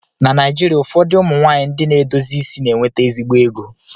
Na Naijirịa ụfọdụ ụmụ nwaanyị ndị na-edozi isi na-enweta ezigbo ego